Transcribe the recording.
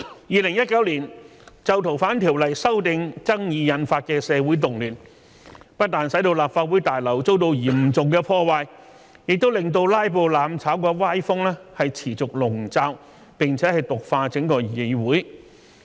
2019年就《逃犯條例》修訂爭議引發的社會動亂，不但使立法會大樓遭到嚴重破壞，也令"拉布""攬炒"的歪風持續籠罩並毒化整個議會。